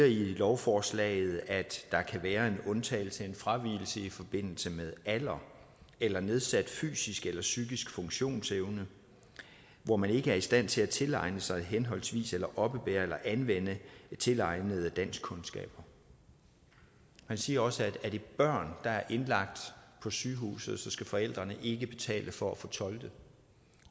i lovforslaget at der kan være en undtagelse en fravigelse i forbindelse med alder eller nedsat fysisk eller psykisk funktionsevne hvor man ikke er i stand til at tilegne sig henholdsvis oppebære eller anvende tilegnede danskkundskaber man siger også at er det børn der er indlagt på sygehuset skal forældrene ikke betale for at få tolket